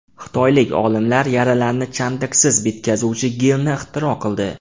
Xitoylik olimlar yaralarni chandiqsiz bitkazuvchi gelni ixtiro qildi.